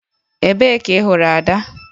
Ebee ka ị hụrụ Ada?